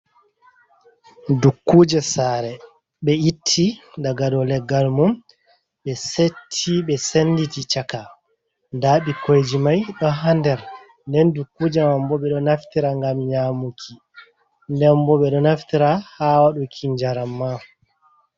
Dukkuje sare ɓe itti daga dow leggal mum. Ɓe setti ɓe senditi chaka, nda bikoiji mai ɗo hander, nden dukkuje mambo ɓe ɗo naftira ngam nyamuki nden bo ɓe ɗo naftira ha waɗuki njaram ma.